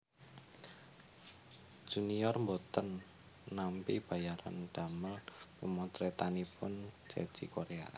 Junior mboten nampi bayaran damel pemotretanipun Ceci Korea